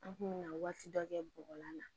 An kun mi na waati dɔ kɛ bɔgɔlan na